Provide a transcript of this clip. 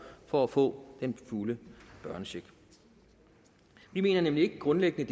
for at få den fulde børnecheck vi mener nemlig ikke grundlæggende